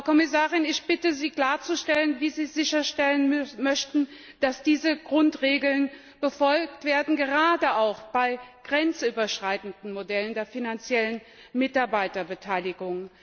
Frau Kommissarin, ich bitte Sie klarzustellen, wie Sie sicherstellen möchten, dass diese Grundregeln befolgt werden, gerade auch bei grenzüberschreitenden Modellen der finanziellen Mitarbeiterbeteiligung.